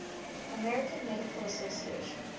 american medical association